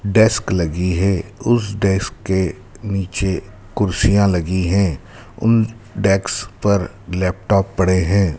Desk लगी है उस डेस्क के नीचे कुर्सियाँ लगी हैं उन डेस्क पर लैपटॉप पड़े हैं।